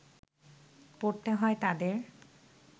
পড়তে হয় তাদের